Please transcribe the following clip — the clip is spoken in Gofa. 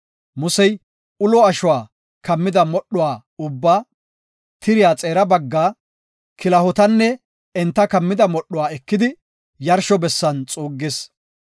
Musey ulo ashuwa kammida modhuwa ubba, tiriya xeera baggaa, kilahotanne enta kammida modhuwa ekidi, yarsho bessan xuuggis.